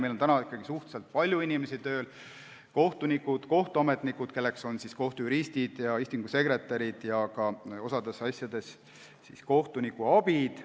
Meil on ikkagi suhteliselt palju inimesi tööl: kohtunikud, kohtuametnikud, kelleks on kohtujuristid ja istungisekretärid, osas asjades ka kohtunikuabid.